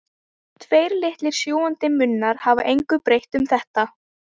Tveir litlir sjúgandi munnar hafa engu breytt um þetta.